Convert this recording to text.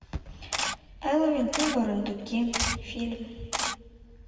элвин и бурундуки фильм